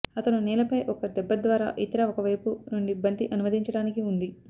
అతను నేలపై ఒక దెబ్బ ద్వారా ఇతర ఒకవైపు నుండి బంతి అనువదించడానికి ఉంది